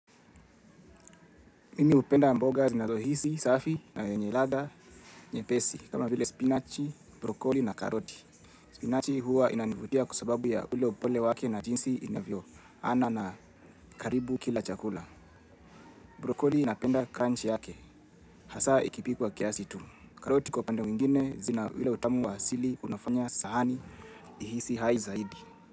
Mimi hupenda mboga zinazohisi, safi na yenye ladha nyepesi, kama vile spinachi, brokoli na karoti. Spinachi huwa inanivutia kwa sababu ya ule upole wake na jinsi inavyo. Ana na karibu kila chakula. Brokoli napenda crunch yake. Hasa ikipikwa kiasi tu. Karoti kwa upande mwingine zina ule utamu wa asili unafanya sahani ihisi hai zaidi.